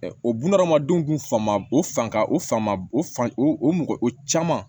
o bunahadamadenw kun fa ma o fan o fan o fan o mɔgɔ o caman